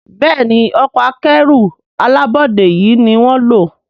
Béèni Ọkọ̀ akẹ́rù alábọ́dé yi ní wón ló.